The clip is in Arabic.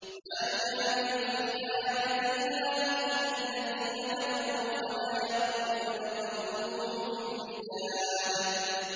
مَا يُجَادِلُ فِي آيَاتِ اللَّهِ إِلَّا الَّذِينَ كَفَرُوا فَلَا يَغْرُرْكَ تَقَلُّبُهُمْ فِي الْبِلَادِ